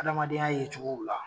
Adamadenya ye cogow la